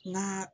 N ga